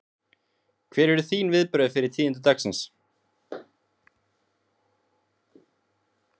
Hver eru þín viðbrögð við tíðindum dagsins?